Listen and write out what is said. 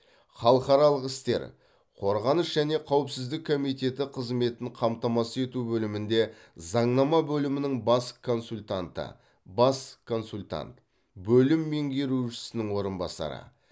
халықаралық істер қорғаныс және қауіпсіздік комиеті қызметін қамтамасыз ету бөлімінде заңнама бөлімінің бас консультанты бас консультант бөлім меңгерушісінің орынбасары